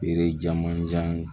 Feere caman jan